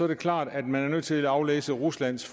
det klart at man er nødt til at aflæse ruslands